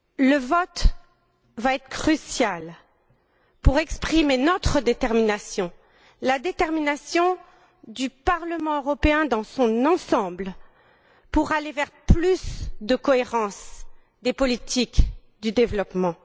Le vote va être crucial pour exprimer notre détermination, la détermination du Parlement européen, dans son ensemble, à aller vers plus de cohérence des politiques de développement.